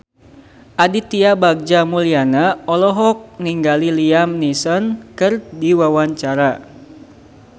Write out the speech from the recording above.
Aditya Bagja Mulyana olohok ningali Liam Neeson keur diwawancara